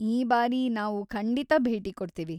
ಈ ಬಾರಿ ನಾವು ಖಂಡಿತ ಭೇಟಿ ಕೊಡ್ತೀವಿ.